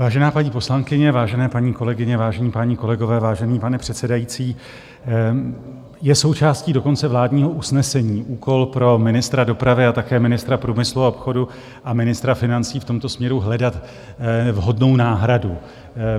Vážená paní poslankyně, vážené paní kolegyně, vážení páni kolegové, vážený pane předsedající, je součástí dokonce vládního usnesení úkol pro ministra dopravy a také ministra průmyslu a obchodu a ministra financí v tomto směru hledat vhodnou náhradu.